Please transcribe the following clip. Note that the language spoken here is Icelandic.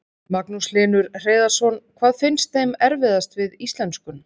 Magnús Hlynur Hreiðarsson: Hvað finnst þeim erfiðast við íslenskun?